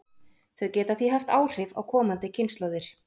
Þau geta því haft áhrif á komandi kynslóðir.